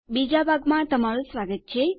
બીજા ભાગમાં તમારું સ્વાગત છે